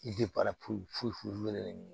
I bɛ foyi foyi ɲini